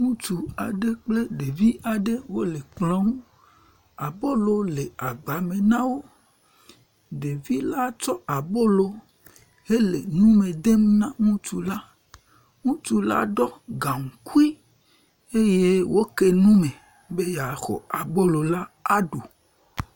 Ŋutsu aɖe kple ɖevi aɖe wole kplɔ ŋu, abolo le agba me na wo. Ɖevi la tsɔ abolo hele nu me dem na ŋutsu la, ŋutsu la ɖɔ gaŋkui eye woke nu me be yeaxɔ abolo la aɖu.